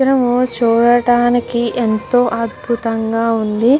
చిత్రం చూడటానికి ఎంతో అద్భుతంగా ఉంది.